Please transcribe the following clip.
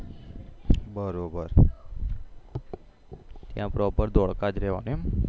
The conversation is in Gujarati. બરોબર ત્યાં પ્રોપેર ધોળકા જ રેવાનું એમ